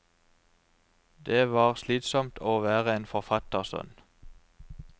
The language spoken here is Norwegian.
Det var slitsomt å være en forfattersønn.